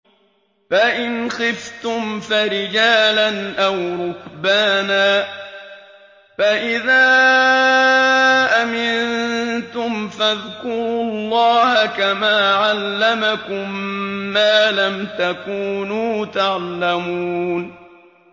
فَإِنْ خِفْتُمْ فَرِجَالًا أَوْ رُكْبَانًا ۖ فَإِذَا أَمِنتُمْ فَاذْكُرُوا اللَّهَ كَمَا عَلَّمَكُم مَّا لَمْ تَكُونُوا تَعْلَمُونَ